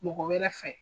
Mɔgɔ wɛrɛ fɛ